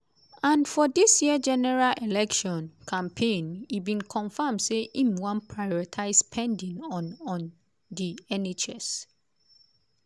and for dis year general election campaign e bin confam say im wan prioritise spending on on di nhs.